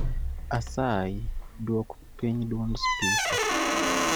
Asayi duok piny dwond spika